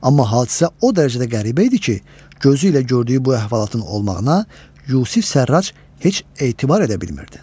Amma hadisə o dərəcədə qəribə idi ki, gözü ilə gördüyü bu əhvalatın olmağına Yusif Sərrac heç etibar edə bilmirdi.